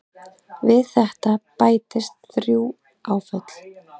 Við þetta bætist þrjú áföll.